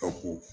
O ko